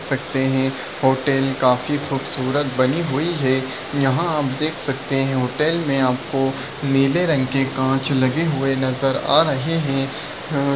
सकते है हॉटल काफी खुबसूरत बनी हुई है यहा आप देख सकते है होटल मे आपको नीले रंग के काँच लगे हुए नज़र आ रहे है ह अ--